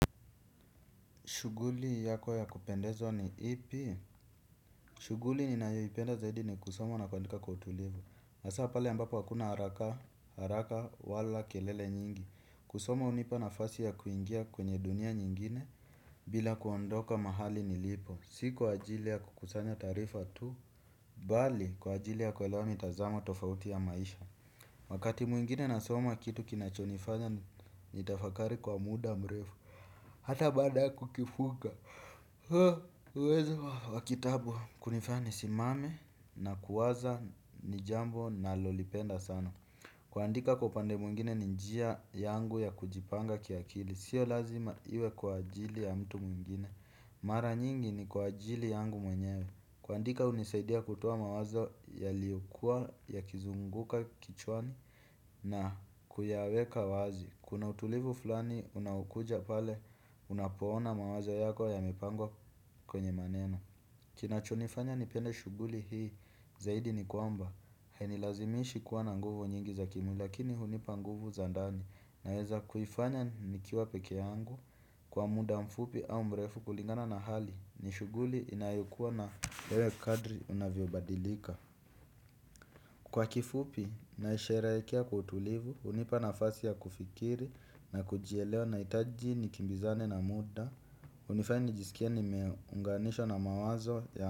Shuguli yako ya kupendeza ni ipi. Shuguli ninayo ipenda zaidi ni kusoma na kuandika kwa utulivu hasaa pale ambapo hakuna haraka haraka wala kelele nyingi. Kusoma hunipa nafasi ya kuingia kwenye dunia nyingine. Bila kuondoka mahali nilipo. Si kwa ajili ya kukusanya taarifa tu bali kwa ajili ya kuelewa mitazamo tofauti ya maisha. Wakati mwingine nasoma kitu kinachonifanya nitafakari kwa muda mrefu hata bada kukifuga huweza wakitabu kunifanya nisimame na kuwaza nijambo nalolipenda sana. Kuandika kwa upande mwingine ni njia yangu ya kujipanga kiakili. Sio lazima iwe kwa ajili ya mtu mwingine. Mara nyingi ni kwa ajili yangu mwenyewe. Kuandika hunisaidia kutoa mawazo yaliyokua ya kizunguka kichwani na kuyaweka wazi. Kuna utulivu fulani unaokuja pale unapoona mawazo yako yamepangwa kwenye maneno. Kinachonifanya nipende shuguli hii zaidi ni kwamba hainilazimishi kuwa na nguvu nyingi za kimwili lakini hunipa nguvu za ndani. Naweza kuifanya nikiwa peke yangu kwa muda mfupi au mbrefu kulingana na hali. Nishuguli inayokuwa na lewe kadri unavyo badilika. Kwa kifupi, naisherehekea kwa utulivu, hunipa nafasi ya kufikiri na kujielewa nahitaji nikimbizane na muda hunifanya nijisikie nimeunganishwa na mawazo ya.